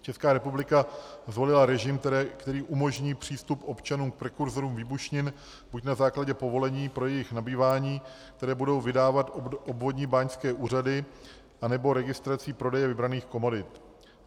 Česká republika zvolila režim, který umožní přístup občanům k prekurzorům výbušnin buď na základě povolení pro jejich nabývání, které budou vydávat obvodní báňské úřady, anebo registrací prodeje vybraných komodit.